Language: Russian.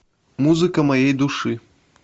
музыка моей души